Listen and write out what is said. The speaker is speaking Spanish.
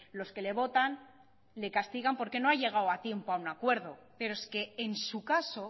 los que le votan le castigan porque no ha llegado a tiempo a un acuerdo pero es que en su caso